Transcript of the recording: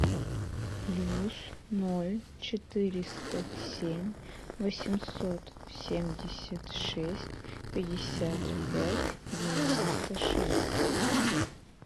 плюс ноль четыреста семь восемьсот семьдесят шесть пятьдесят пять девяносто шесть